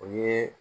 O ye